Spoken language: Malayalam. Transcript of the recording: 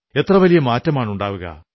എത്ര വലിയ മാറ്റമാണുണ്ടാവുക